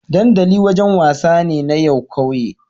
dandali wajan wasa ne na yan ƙauye